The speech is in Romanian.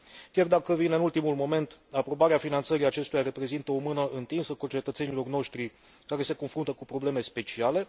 Chiar dacă vine în ultimul moment, aprobarea finanțării acestuia reprezintă o mână întinsă concetățenilor noștri care se confruntă cu probleme speciale.